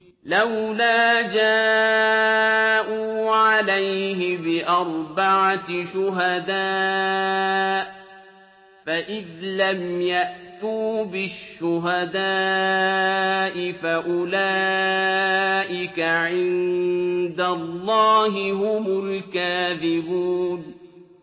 لَّوْلَا جَاءُوا عَلَيْهِ بِأَرْبَعَةِ شُهَدَاءَ ۚ فَإِذْ لَمْ يَأْتُوا بِالشُّهَدَاءِ فَأُولَٰئِكَ عِندَ اللَّهِ هُمُ الْكَاذِبُونَ